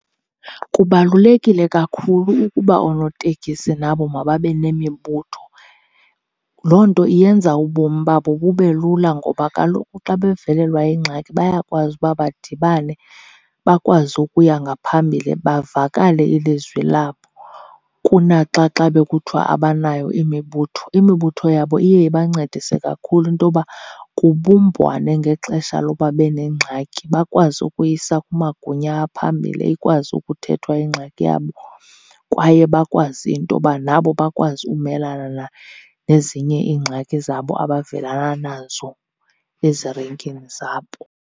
Kubalulekile kakhulu ukuba oonotekisi nabo mababe nemibutho. Loo nto iyenza ubomi babo bube lula ngoba kaloku xa bevelelwa yingxaki bayakwazi uba badibane bakwazi ukuya ngaphambili bavakale ilizwi labo, kunaxa xa bekuthiwa abanayo imibutho. Imibutho yabo iye ibancedise kakhulu into yoba kubumbwane ngexesha loba benengxaki, bakwazi ukuyisa kumagunya aphambili ikwazi ukuthethwa ingxaki yabo. Kwaye bakwazi into yoba nabo bakwazi umelana nezinye iingxaki zabo abavelana nazo ezirenkini zabo.